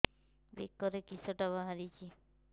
ବେକରେ କିଶଟା ବାହାରିଛି